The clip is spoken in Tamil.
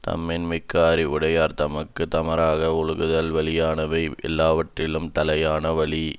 தம்மின் மிக்க அறிவுடையார் தமக்கு தமராக ஒழுகுதல் வலியானவை யெல்லாவற்றினும் தலையான வலி